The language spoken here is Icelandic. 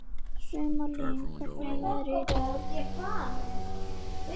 Sumarlín, hvernig er veðrið í dag?